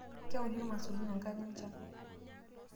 Keuni irmaisurin enkata enchan.